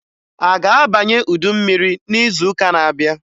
A ga-abanye udu mmiri n'izuụka n'abịa?